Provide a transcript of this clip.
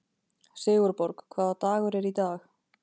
Sigurborg, hvaða dagur er í dag?